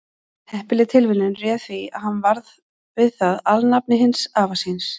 heppileg tilviljun réði því að hann varð við það alnafni hins afa síns